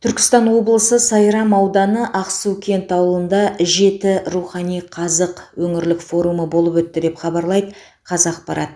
түркістан облысы сайрам ауданы ақсукент ауылында жеті рухани қазық өңірлік форумы болып өтті деп хабарлайды қазақпрат